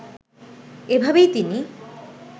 এভাবেই তিনি